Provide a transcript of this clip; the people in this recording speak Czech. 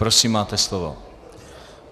Prosím, máte slovo.